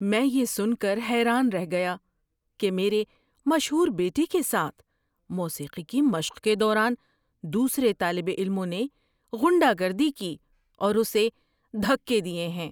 میں یہ سن کر حیران رہ گیا کہ میرے مشہور بیٹے کے ساتھ موسیقی کی مشق کے دوران دوسرے طالب علموں نے غنڈہ گردی کی اور اسے دھکے دیے ہیں۔